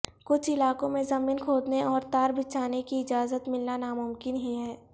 کچھ علاقوں میں زمین کھودنے اور تار بچھانے کی اجازت ملنا ناممکن ہی ہے